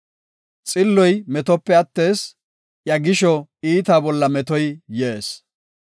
Xilloy metope attees; iya gisho iitaa bolla metoy yees.